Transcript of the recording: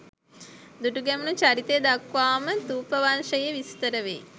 දුටුගැමුණු චරිතය දක්වාම ථූපවංශයේ විස්තර වෙයි.